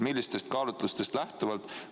Millistest kaalutlustest lähtuvalt?